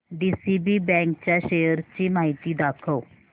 DCB bank च्या shares ची माहिती दाखव